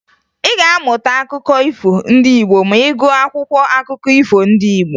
Ị ga-amụta akụkọ ifo ndị Igbo ma ị gụọ akwụkwọ akụkọ ifo ndị Igbo